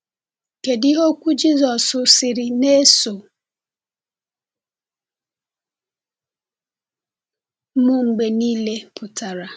Kedu ihe okwu Jizọs sịrị “Na-eso m mgbe niile” pụtara?